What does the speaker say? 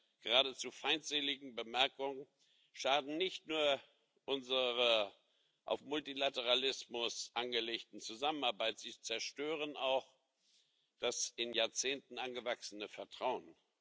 Und seine geradezu feindseligen Bemerkungen schaden nicht nur unserer auf Multilateralismus angelegten Zusammenarbeit, sie zerstören auch das in Jahrzehnten angewachsene Vertrauen.